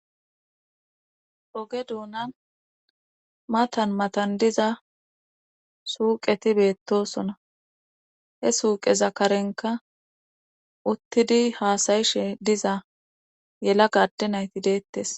Oge duunan matan matan diza suuqeti beettosona he suuqeza karenka uttidi haasayishe diza yela gadde nayti deettes